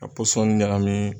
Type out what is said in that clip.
ka pɔsɔni ɲagami